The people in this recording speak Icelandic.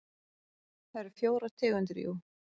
Það eru fjórar tegundir jú.